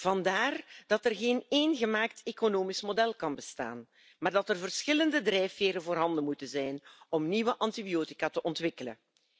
Vandaar dat er niet slechts één economisch model kan bestaan, maar dat er verschillende drijfveren voorhanden moeten zijn om nieuwe antibiotica te ontwikkelen.